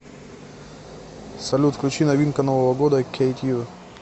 салют включи новинка нового года кейт ю